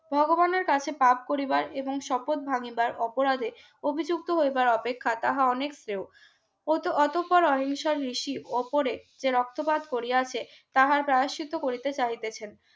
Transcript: ভগবানের কাছে পাপ করিবার এবং শপথ ভাঙিবার অপরাধে অভিযুক্ত হইবার অপেক্ষা তাহা অনেক শ্রেয় ওতো অতঃপর অহিংসা ঋসি উপরে যে রক্তপাত করিয়াছে তাহার দায় সিদ্ধ চাইতেছেন